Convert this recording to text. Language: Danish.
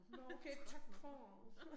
Nåh okay 13'eren